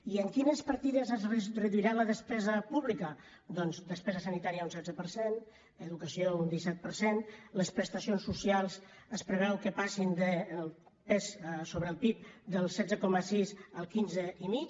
i en quines partides es reduirà la despesa pública doncs despesa sanitària un setze per cent educació un disset per cent les prestacions socials es preveu que passin el pes sobre el pib del setze coma sis al quinze i mig